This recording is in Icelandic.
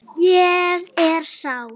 Ég er sár.